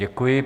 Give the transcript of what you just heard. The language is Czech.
Děkuji.